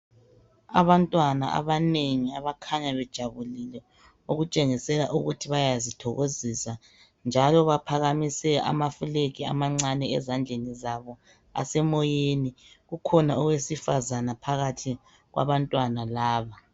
Abantwana abanengi abakhanya bejabulile okutshengisela ukuthi bayazithokozisa njalo baphakamise ama flag amancane ezandlenizabo asemoyeni. Kukhona owesifazane phakathi kwabantwana laba.